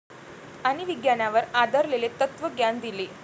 आणि विज्ञानावर आधारलेले तत्त्वज्ञान दिले.